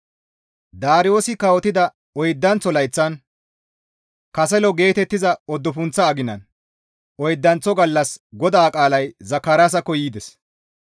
Daariyoosi kawotida oydanththo layththan kaselo geetettiza uddufunththa aginan oydanththo gallas GODAA qaalay Zakaraasakko yides.